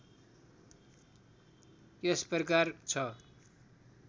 यस प्रकार छ